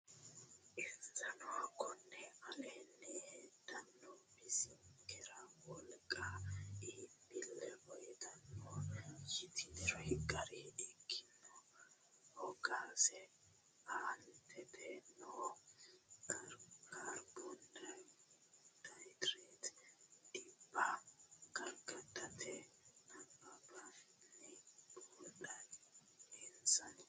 Insano konni aleenni heddine bisinkera wolqanna iibbille uytannoti yitiniri gara ikkanna hoogasi aantete noo kaarbohaydireete dhibba gargartannoti nabbabbinanni buuxidhe Insano.